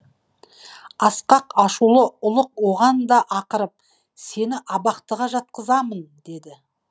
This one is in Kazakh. асқақ ашулы ұлық оған да ақырып сені абақтыға жапқызамын деді